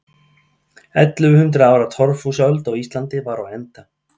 Ellefu hundruð ára torfhúsaöld á Íslandi var á enda.